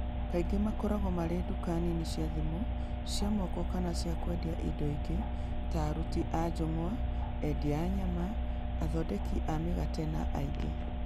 Kaingĩ makoragwo marĩ nduka nini cia thimũ cia moko kana cia kwendia indo ingĩ, ta aruti a njũng'wa, endia a nyama, athondeki a mĩgate, na angĩ.